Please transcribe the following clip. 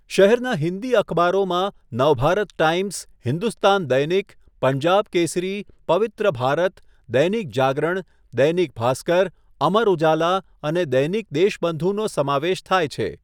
શહેરના હિન્દી અખબારોમાં નવભારત ટાઈમ્સ, હિન્દુસ્તાન દૈનિક, પંજાબ કેસરી, પવિત્ર ભારત, દૈનિક જાગરણ, દૈનિક ભાસ્કર, અમર ઉજાલા અને દૈનિક દેશબંધુનો સમાવેશ થાય છે.